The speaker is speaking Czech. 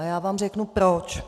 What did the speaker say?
A já vám řeknu proč.